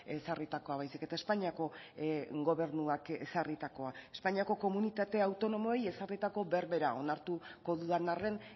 ezarritakoa baizik eta espainiako gobernuak ezarritakoa espainiako komunitate autonomoei ezarritako berbera onartuko dudan arren